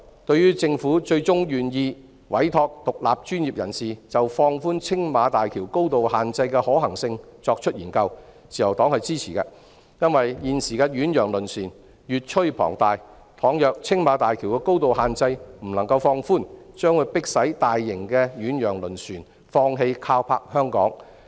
對於政府最終願意委託獨立專業人士就放寬青馬大橋高度限制的可行性進行研究，自由黨是支持的，因為現時的遠洋輪船越趨龐大，假如青馬大橋的高度限制未能放寬，將迫使大型遠洋輪船放棄靠泊香港。